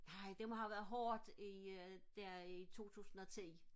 nej det må have været hårdt i der i 2010